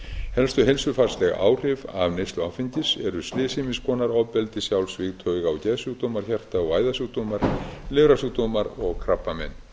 helstu heilsufarsleg áhrif neyslu áfengis eru slys ýmiss konar ofbeldi sjálfsvíg tauga og geðsjúkdómar hjarta og æðasjúkdómar lifrarsjúkdómar og krabbamein